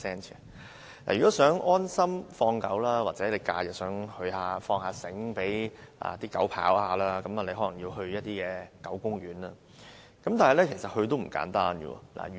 如果想安心放狗，或想在假日讓狗自由奔跑，大家可能要到狗公園，但想去狗公園也不容易。